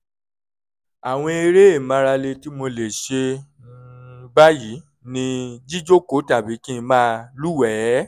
àwọn eré ìmárale tí mo lè ṣe um báyìí ni jíjókòó tàbí kí n máa lúwẹ̀ẹ́